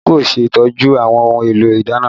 Adigun kò ṣe ìtọ́jú àwọn ohun èlò ìdáná rẹ